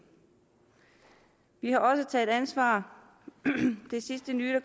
vi har også taget ansvar det sidste nye